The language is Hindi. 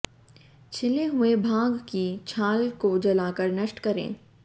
छिले हुए भाग की छाल को जलाकर नष्ट करें